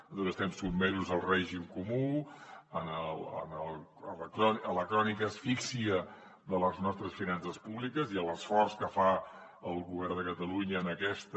nosaltres estem sotmesos al règim comú a la crònica asfíxia de les nostres finances públiques i l’esforç que fa el govern de catalunya en aquesta